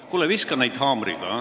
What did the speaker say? Kuule, viska neid haamriga.